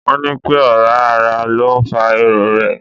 Wọ́n ní pẹ́ ọ̀rá ara ló ń fa irorẹ́.